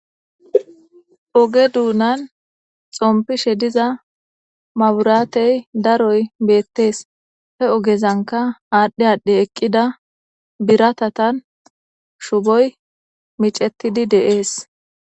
Ogge donani xompishe diza mabirateyi daroyi betesi He ogezanika adhi adhi eqida biratatani shuboyi micetidi deyesi